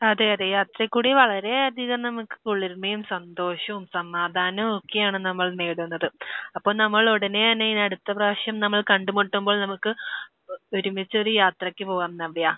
അതെ. അതെ. യാത്രയിലൂടെ വളരെയധികം നമുക്ക് കുളിർമയും സന്തോഷവും സമാധാനവും ഒക്കെയാണ് നമ്മൾ നേടുന്നത്. അപ്പോൾ നമ്മൾ ഉടനെ തന്നെ ഇനി അടുത്ത പ്രാവശ്യം നമ്മൾ കണ്ട് മുട്ടുമ്പോൾ നമുക്ക് ഒരുമിച്ചൊരു യാത്രയ്ക്ക് പോകാം നവ്യ.